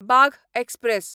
Bagh express